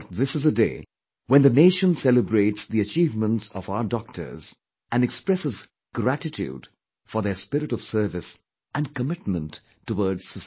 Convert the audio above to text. But this is a day when the nation celebrates the achievements of our doctors and expresses gratitude for their spirit of service and commitment towards society